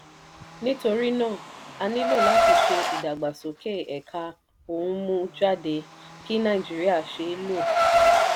nítorí náà a nílò láti ṣe ìdàgbàsókè ẹ̀ka ohun mú jáde kí nàìjíríà ṣe èlò.